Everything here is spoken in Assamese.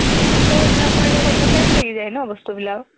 ত সেইবিলাক কৰি থাকোঁতে time লাগি যায় ন বস্তুবিলাক